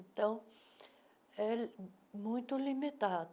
Então, é muito limitado.